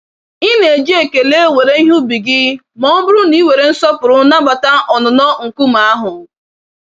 Ị na-eji ekele were ihe ubi gị mọbụrụ na ị were nsọpụrụ nabata ọnụnọ nkume ahụ.